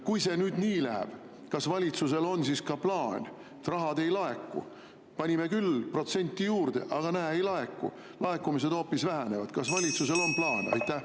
Kui see nii läheb, et raha ei laeku, panime küll protsenti juurde, aga näe, ei laeku, laekumised hoopis vähenevad, siis kas valitsusel on plaan?